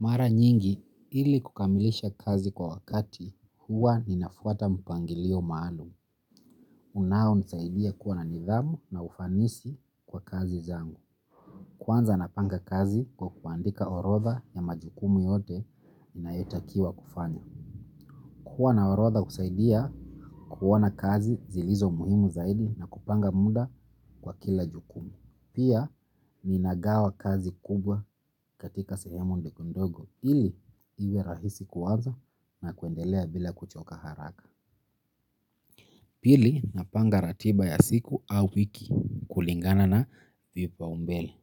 Mara nyingi ili kukamilisha kazi kwa wakati huwa ninafuata mpangilio maalum. Unao nisaidia kuwa na nidhamu na ufanisi kwa kazi zangu. Kwa nza napanga kazi kwa kuandika orodha ya majukumu yote nina yetakiwa kufanya. Kuwa na orodha husaidia kuona kazi zilizo muhimu zaidi na kupanga muda kwa kila jukumu. Pia ninagawa kazi kubwa katika sehemu ndogo ndogo ili iwe rahisi kuanza na kuendelea bila kuchoka haraka pili, napanga ratiba ya siku au wiki kulingana na vipaumbele.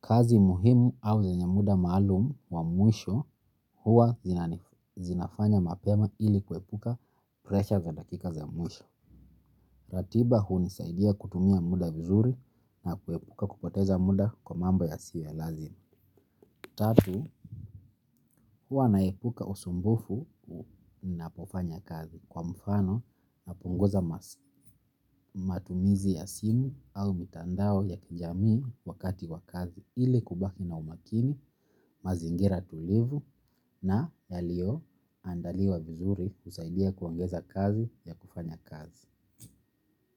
Kazi muhimu au zenyemuda maalum wa mwisho huwa zinafanya mapema ili kuepuka pressure za dakika za mwisho. Ratiba hu nisaidia kutumia muda vizuri na kuepuka kupoteza muda kwa mambo ya siyo ya lazima tatu, huwa naepuka usumbufu ninapofanya kazi kwa mfano, napunguza matumizi ya simu au mitandao ya kijamii wakati wa kazi ili kubaki na umakini, mazingira tulivu na yalio andaliwa vizuri kusaidia kuongeza kazi ya kufanya kazi.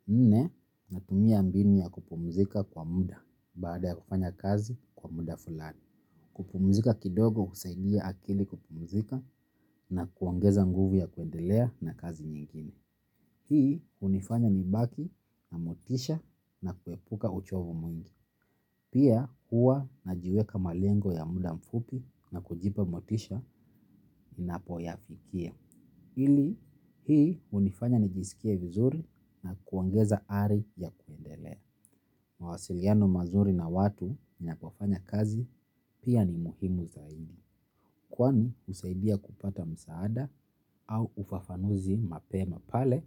Nne, natumia mbinu ya kupumzika kwa muda baada ya kufanya kazi kwa muda fulani. Kupumzika kidogo husaidia akili kupumzika na kuongeza nguvu ya kuendelea na kazi nyingine. Hii, unifanya nibaki na motisha na kuepuka uchovu mwingi. Pia, hua na jiweka malengo ya muda mfupi na kujipa motisha nina poyafikia. Hii hunifanya nijiskie vizuri na kuongeza ari ya kuendelea. Mawasiliano mazuri na watu ni napofanya kazi pia ni muhimu zaidi. Kwani husaidia kupata msaada au ufafanuzi mapema pale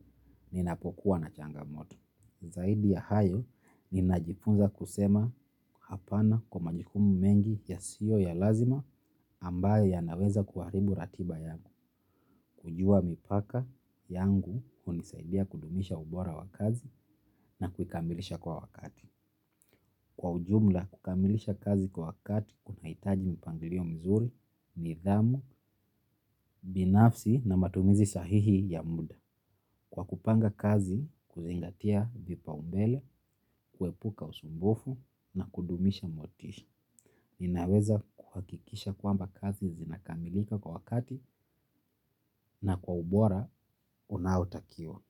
ninapokuwa na changa moto. Zaidiya hayo ninajipunza kusema hapana kwa majikumu mengi ya siyo ya lazima ambaye ya naweza kuharibu ratiba yangu. Kujua mipaka yangu hunisaidia kudumisha ubora wa kazi na kukamilisha kwa wakati. Kwa ujumla, kukamilisha kazi kwa wakati kuna hitaji mpangirio mzuri, nidhamu, binafsi na matumizi sahihi ya muda. Kwa kupanga kazi huzingatia vipaumbele kuepuka usumbufu na kudumisha motisha. Ninaweza kuhakikisha kwamba kazi zinakamilika kwa wakati na kwa ubora, unaotakiwa.